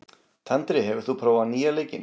Tandri, hefur þú prófað nýja leikinn?